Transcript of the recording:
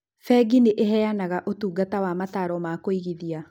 Bengi nĩ ĩheanaga ũtungata wa mataaro ma kũigithia.